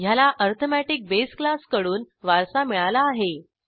ह्याला arithmetic base क्लासकडून वारसा मिळाला आहे